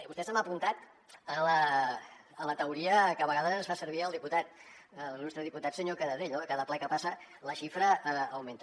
vostè se m’ha apuntat a la teoria que a vegades fa servir l’il·lustre diputat senyor canadell no que cada ple que passa la xifra augmenta